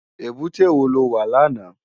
Ébùté wó ló wá làná?